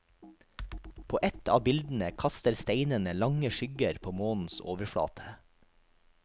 På ett av bildene kaster steinene lange skygger på månens overflate.